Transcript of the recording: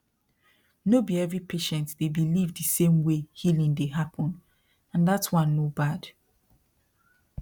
no be every patient dey believe the same way healing dey happen and that one no bad